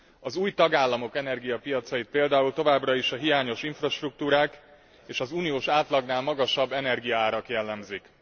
Az új tagállamok energiapiacait például továbbra is a hiányos infrastruktúrák és az uniós átlagnál magasabb energiaárak jellemzik.